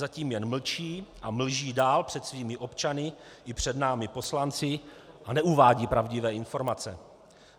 Zatím jen mlčí a mlží dál před svými občany i před námi poslanci a neuvádí pravdivé informace.